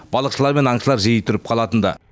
балықшылар мен аңшылар жиі тұрып қалатын ды